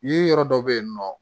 Yiri yɔrɔ dɔ bɛ yen nɔ